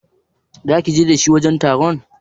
Zaki je tare da shi wajen taron?